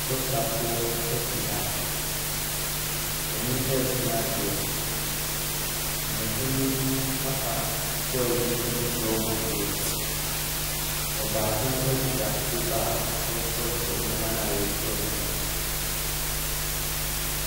Adɔkotafoɔ te ha. Wɔresua adeɛ. Wɔn panin no afa toy bi de rekyerɛ wɔn adeɛ. Ɔbaako kita paper a ɔretwerɛtwerɛ nneɛma a wɔrekyerɛ wɔn no.